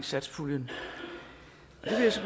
satspuljen